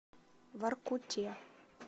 воркуте